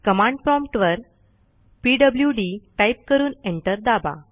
command prompt वर PWD type करून enter दाबा